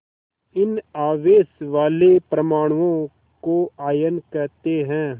इन आवेश वाले परमाणुओं को आयन कहते हैं